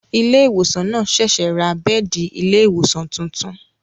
Ilé ìwòsàn náà ṣẹ̀ṣẹ̀ ra bẹ́ẹ̀di ilé ìwòsàn tuntun